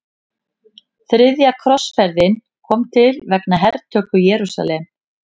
Þriðja krossferðin kom til vegna hertöku Jerúsalem.